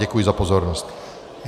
Děkuji za pozornost.